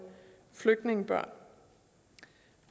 flygtningebørn